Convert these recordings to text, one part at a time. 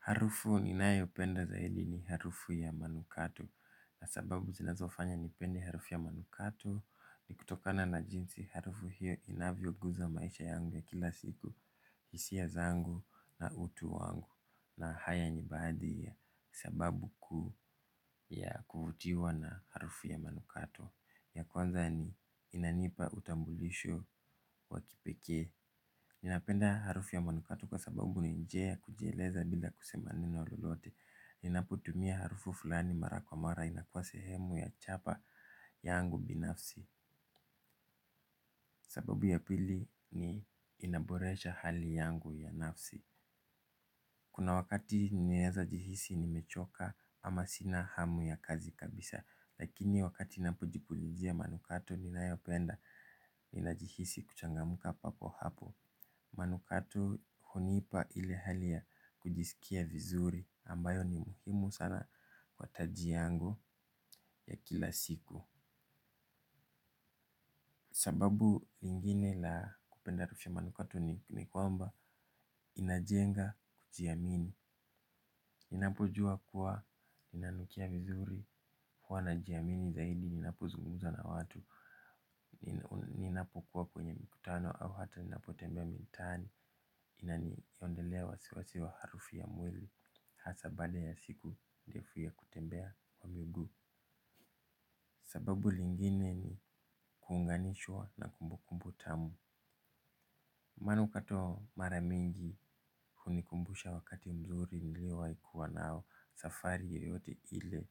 Harufu ninayopenda zaidi ni harufu ya manukato, na sababu zinazofanya nipende harufu ya manukato ni kutokana na jinsi harufu hiyo inavyoguza maisha yangu ya kila siku. Hisia zangu na utu wangu, na haya ni baadhi ya sababu kuu ya kuvutiwa na harufu ya manukato. Ya kwanza ni inanipa utambulisho wa kipekee. Ninapenda harufu ya manukato kwa sababu ni njia ya kujieleza bila kusema neno lolote. Ninapotumia harufu fulani mara kwa mara inakuwa sehemu ya chapa yangu binafsi. Sababu ya pili ni inaboresha hali yangu ya nafsi. Kuna wakati naweza jihisi nimechoka ama sina hamu ya kazi kabisa, lakini wakati ninapojipulizia manukato ninayopenda, ninajihisi kuchangamka papo hapo. Manukato hunipa ile hali ya kujisikia vizuri ambayo ni muhimu sana kwa taji yangu ya kila siku. Sababu ingine la kupenda harufy ya manukato ni kwamba inajenga kujiamini. Ninapojua kuwa inanukia vizuri huwa najiamini zaidi ninapozungumza na watu. Ninapokuwa kwenye mikutano au hata ninapotembea mitaani, inaniondelea wasiwasi wa harufu ya mwili, hasa baada ya siku ndefu ya kutembea kwa miguu. Sababu lingine ni kuunganishwa na kumbukumbu tamu. Manukato mara mingi hunikumbusha wakati mzuri niliyowahi kuwa nayo, safari yoyote ile,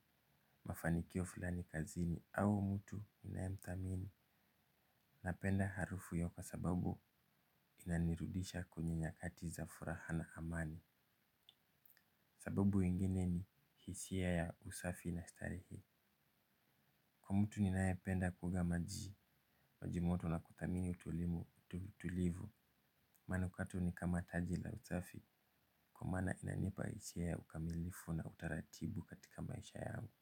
mafanikio fulani kazini au mtu ninayemthamini. Napenda harufu hiyo kwa sababu inanirudisha kwenye nyakati za furaha na amani. Sababu ingine ni hisia ya usafi na starehe. Kwa mtu ninayependa kuoga maji, maji moto na kuthamini utulivu, manukato ni kama taji la usafi. Kwa maana inanipa hisia ya ukamilifu na utaratibu katika maisha yangu.